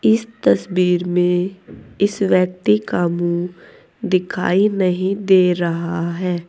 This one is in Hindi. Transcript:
इस तस्वीर में इस व्यक्ति का मुंह दिखाई नहीं दे रहा है।